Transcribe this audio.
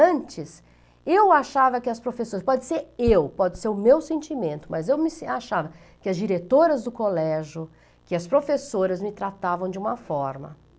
Antes, eu achava que as professoras, pode ser eu, pode ser o meu sentimento, mas eu achava que as diretoras do colégio, que as professoras me tratavam de uma forma